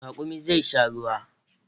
Raƙumin zai sha ruwa